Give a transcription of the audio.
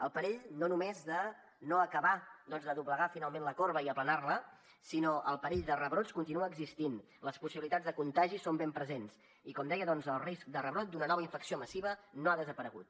el perill no només de no acabar doncs de doblegar finalment la corba i aplanar la sinó el perill de rebrots continua existint les possibilitats de contagi són ben presents i com deia el risc de rebrot d’una nova infecció massiva no ha desaparegut